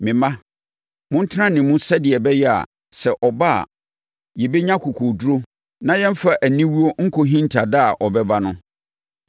Me mma, montena ne mu sɛdeɛ ɛbɛyɛ a, sɛ ɔba a, yɛbɛnya akokoɔduru na yɛmfa aniwuo nkɔ hinta da a ɔbɛba no.